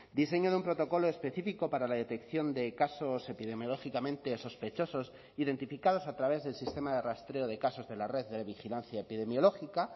diseño de un protocolo específico para la detección de casos epidemiológicamente sospechosos identificados a través del sistema de rastreo de casos de la red de vigilancia epidemiológica